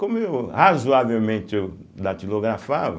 Como eu razoavelmente eu datilografava,